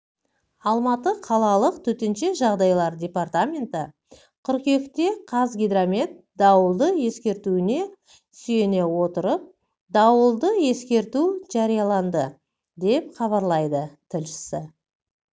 алматы қалалық төтенше жағдайлар департаменті қыркүйекте қазгидромет дауылды ескертуіне сүйене отырыпдауылды ескерту жарияланды деп хабарлайды тілшісі